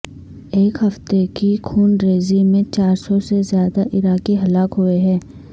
ایک ہفتے کی خونریزی میں چار سو سے زیادہ عراقی ہلاک ہوئے ہیں